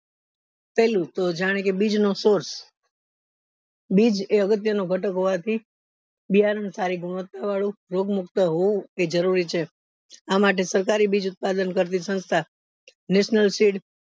પેલું જાણે કે બીજ નો source બીજ એ અગત્ય નો ગતક હોવાથી બિયારણ સારી ગુણવત્તા વાળું રોગ મુક્ત હોવું એ જરૂરી છે